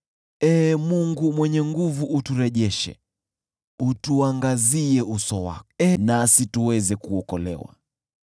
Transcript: Ee Mungu Mwenye Nguvu Zote, uturejeshe; utuangazie uso wako, nasi tuweze kuokolewa.